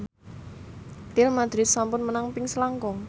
Real madrid sampun menang ping selangkung